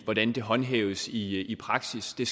hvordan det håndhæves i i praksis det